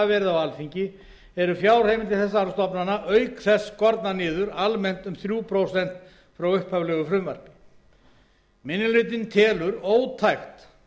verið á alþingi eru fjárheimildir þessara stofnana auk þess almennt skornar niður um þrjú prósent frá upphaflegu frumvarpi minni hlutinn telur ótækt